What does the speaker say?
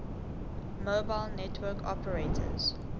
mobile network operators